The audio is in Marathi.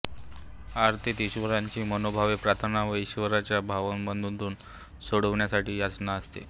आरतीत ईश्वराची मनोभावे प्रार्थना व ईश्वराला भवबंधनातून सोडविण्यासाठी याचना असते